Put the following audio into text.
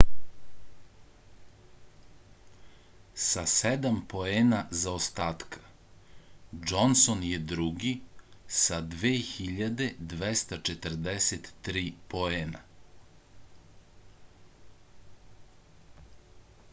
sa sedam poena zaostatka džonson je drugi sa 2243 poena